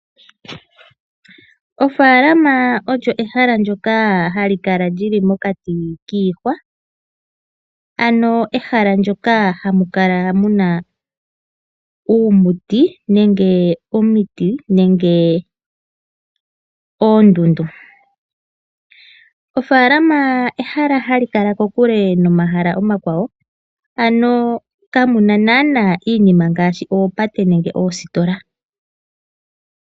Ofaalama olyo ehala ndyoka hali kala li li mokati kiihwa. Ehala moka hamu kala mu na uumuti nenge omiti nenge oondundu. Ofaalama ehala hali kala kokule nomahala omakwawo. Kamu na naanaa iinima ngaashi oopate nenge oositola.